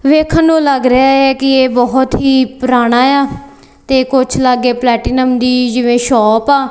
ਵੇਖਣ ਨੂੰ ਲੱਗ ਰਿਹਾ ਹੈ ਕੀ ਏਹ ਬਹੁਤ ਹੀ ਪੁਰਾਣਾ ਯਾ ਤੇ ਕੁਛ ਲਾਗੇ ਪਲੈਟੀਨਮ ਦੀ ਜਿਵੇਂ ਸ਼ੌਪ ਆ।